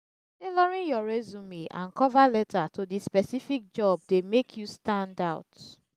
tailoring your resume and cover letter to di specific job dey make you stand out.